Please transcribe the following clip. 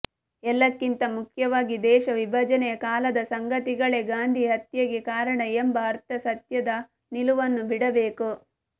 ಎಲ್ಲಕ್ಕಿಂತ ಮುಖ್ಯವಾಗಿ ದೇಶ ವಿಭಜನೆಯ ಕಾಲದ ಸಂಗತಿಗಳೇ ಗಾಂಧಿ ಹತ್ಯೆಗೆ ಕಾರಣ ಎಂಬ ಅರ್ಧಸತ್ಯದ ನಿಲುವನ್ನು ಬಿಡಬೇಕು